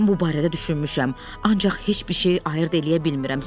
Mən bu barədə düşünmüşəm, ancaq heç bir şey ayırd eləyə bilmirəm.